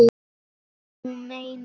Þú meinar!